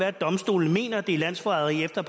at domstolen mener at det er landsforræderi efter